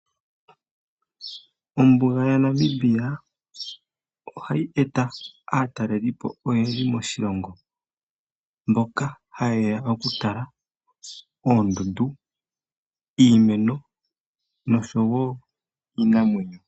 Ombuga ya Namibia oha yi eta aatalelipo oyendji moshilongo, mboka haye ya oku tala oondundu, iimeno nosho wo iinamwenyo.